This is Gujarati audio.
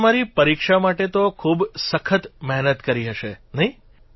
તમે તમારી પરીક્ષા માટે તો ખૂબ સખત મહેનત કરી હશે નહિં